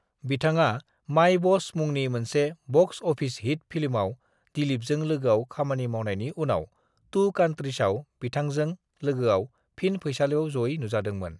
बिथाङा 'My Boss' मुंनि मोनसे बक्स अफिस हिट फिल्मआव दिलीपजों लोगोआव खामानि मावनायनि उनाव 'टू कंट्रीज' आव बिथांजों लोगोआव फिन फैसालिआव जयै नुजादोंमोन।